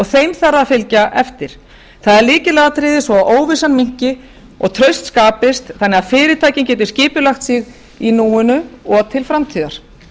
þeim þarf að fylgja eftir það er lykilatriði svo að óvissan minnki og traust skapist þannig að fyrirtækin geti skipulagt sig í núinu og til framtíðar